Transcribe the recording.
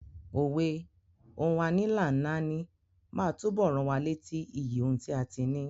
Òwe "Ohun a ní là ń náání" máa túbọ̀ rán wa létí iyì ohun tí a ti ní.